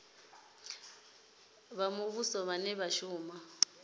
vha muvhuso vhane vha shuma